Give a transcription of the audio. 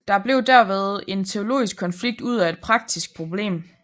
Der blev derved en teologisk konflikt ud af et praktisk problem